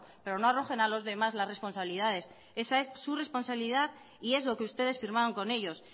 pero no arrojen a los demás las responsabilidades esa es su responsabilidad y es lo que ustedes firmaron con ellos